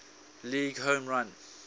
league home run